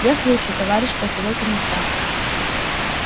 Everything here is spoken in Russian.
я слушаю товарищ полковой комиссар